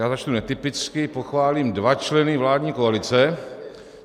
Já začnu netypicky, pochválím dva členy vládní koalice.